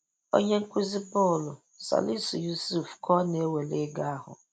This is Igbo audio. Onye nkuzi bọọlụ, Salisu Yusuf ka ọ na-ewere ego ahụ.